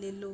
lelo